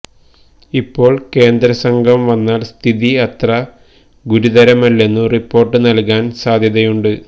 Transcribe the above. ഇപ്പോൾ കേന്ദ്രസംഘം വന്നാൽ സ്ഥിതി അത്ര ഗുരുതരമല്ലെന്നു റിപ്പോർട്ട് നൽകാൻ സാധ്യതയുണ്ട്